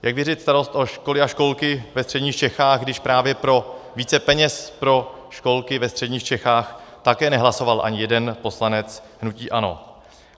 Jak věřit starost o školy a školky ve Středních Čechách, když právě pro více peněz pro školky ve středních Čechách také nehlasoval ani jeden poslanec hnutí ANO?